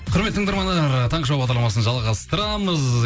құрметті тыңдармандар таңғы шоу бағдарламасын жалғастырамыз